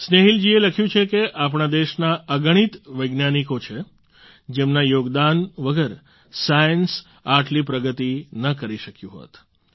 સ્નેહીલ જીએ લખ્યું છે કે આપણા દેશના અગણિત વૈજ્ઞાનિકો છે જેમના યોગદાન વગર સાયન્સ આટલી પ્રગતિ ન કરી શક્યું હોત